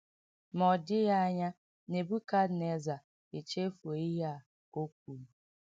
Ma ọ dịghị anya Nebukadneza echefuo ihe a o kwuru.